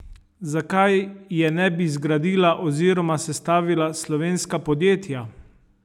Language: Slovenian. Zakaj je ne bi zgradila oziroma sestavila slovenska podjetja?